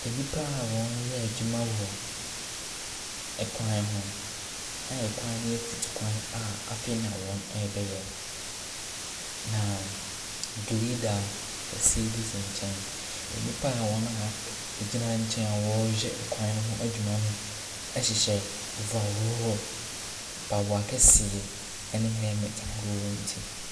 Nnipa wɔreyɛ adwuma ɛwɔ ɛkwan ho, a ɛkwan no yɛ mfutukwan a afei na wɔrebɛyɛ. Na grader kɛseɛ bi asi nkyɛn. Nnipa a wɔn a ak agyina nkyɛn a wɔrehwɛ ɛkwan ne ho adwuma no ɛhyehyɛ overall, mpaboa kɛseɛ ɛna helmet ahoroɔ wɔ wɔn ti.